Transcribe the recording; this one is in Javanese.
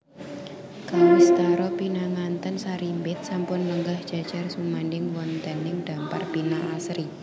Kawistara pinanganten sarimbit sampun lenggah jajar sumandhing wontening dampar pinaasri